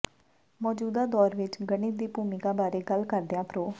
ਮੌਜੂਦਾ ਦੌਰ ਵਿਚ ਗਣਿਤ ਦੀ ਭੂਮਿਕਾ ਬਾਰੇ ਗੱਲ ਕਰਦਿਆਂ ਪ੍ਰੋ